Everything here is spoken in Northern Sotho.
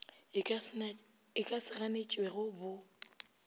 e ka se ganetšwego bo